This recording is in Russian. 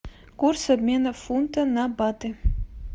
курс обмена фунта на баты